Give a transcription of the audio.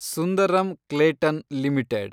Sundaram Clayton limited